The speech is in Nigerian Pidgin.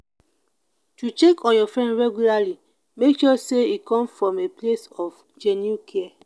to check on your friend regularly make sure say e come from a place of genuine care